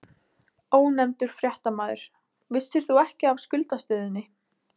Ónefndur fréttamaður: Vissir þú ekki af skuldastöðunni?